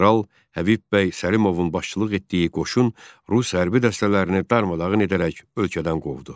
General Həbib bəy Səlimovun başçılıq etdiyi qoşun Rus hərbi dəstələrini darmadağın edərək ölkədən qovdu.